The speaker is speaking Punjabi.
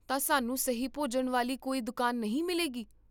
ਤਾਂ, ਸਾਨੂੰ ਸਹੀ ਭੋਜਨ ਵਾਲੀ ਕੋਈ ਦੁਕਾਨ ਨਹੀਂ ਮਿਲੇਗੀ?